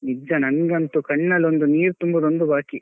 ನಿಜ ನಂಗಂತೂ ಕಣ್ಣಲೊಂದು ನೀರು ತುಂಬುದೊಂದೇ ಬಾಕಿ.